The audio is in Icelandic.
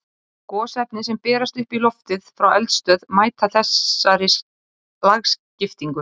Gosefni sem berast upp í loftið frá eldstöð mæta þessari lagskiptingu.